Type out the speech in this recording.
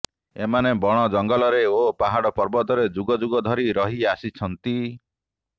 ଏମାନେ ବଣଜଙ୍ଗଲରେ ଓ ପାହାଡ଼ ପର୍ବତରେ ଯୁଗଯୁଗ ଧରି ରହି ଆସିଛନ୍ତି